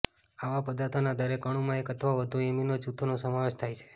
આવા પદાર્થોના દરેક અણુમાં એક અથવા વધુ એમિનો જૂથોનો સમાવેશ થાય છે